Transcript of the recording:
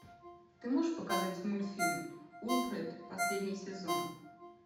ты можешь показать мультфильм уилфред последний сезон